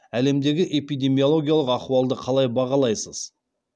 әлемдегі эпидемиологиялық ахуалды қалай бағалайсыз